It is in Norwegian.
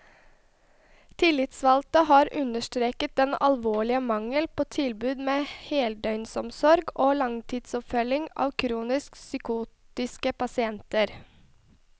Tillitsvalgte har understreket den alvorlige mangel på tilbud med heldøgnsomsorg og langtidsoppfølging av kronisk psykotiske pasienter.